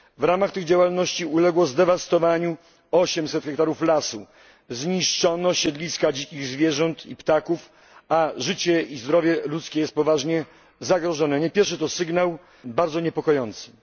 W ramach tych działalności uległo zdewastowaniu 800 hektarów lasu, zniszczono siedliska dzikich zwierząt i ptaków, a życie i zdrowie ludzkie jest poważnie zagrożone i nie jest to pierwszy taki bardzo niepokojący sygnał.